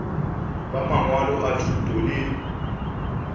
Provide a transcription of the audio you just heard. ba mangwalo a thuto le